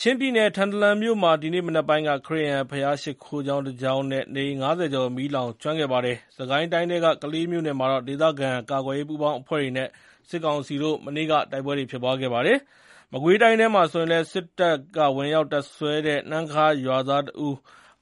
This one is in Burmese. ချင်းပြည်နယ်၊ ထန်တလန်မြို့မှာ ဒီနေ့မနက်ပိုင်းက ခရစ်ယာန် ဘုရားရှိခိုးကျောင်း တကျောင်းနဲ့ နေအိမ် ၅၀ ကျော် မီးလောင်ကျွမ်းခဲ့ပါတယ်။ စစ်ကိုင်းတိုင်းထဲက ကလေးမြို့နယ်မှာ ဒေသခံကာကွယ်ရေးပူးပေါင်းအဖွဲ့နဲ့ စစ်ကောင်စီတို့ မနေ့က တိုက်ပွဲဖြစ်ခဲ့ပါတယ်။ မကွေးတိုင်းထဲမှာလည်း စစ်တပ် ဝင်ရောက်တပ်စွဲတဲ့ နှမ်းခါးရွာက ရွာသားတဦး